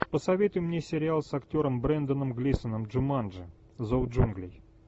посоветуй мне сериал с актером бренданом глисоном джуманджи зов джунглей